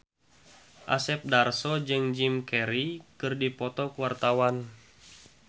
Asep Darso jeung Jim Carey keur dipoto ku wartawan